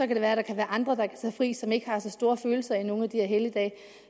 det være at der er andre der kan tage fri andre som ikke har så store følelser i nogle af de helligdage